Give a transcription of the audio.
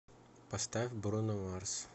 поставь бруно марс